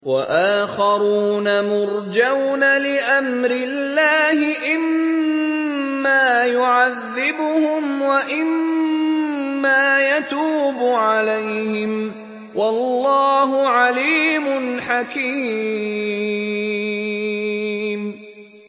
وَآخَرُونَ مُرْجَوْنَ لِأَمْرِ اللَّهِ إِمَّا يُعَذِّبُهُمْ وَإِمَّا يَتُوبُ عَلَيْهِمْ ۗ وَاللَّهُ عَلِيمٌ حَكِيمٌ